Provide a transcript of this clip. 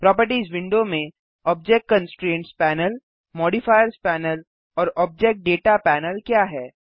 properties window में object constraints panel modifiers panel और object data panel क्या है